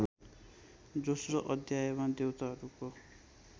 दोस्रो अध्यायमा देवताहरूको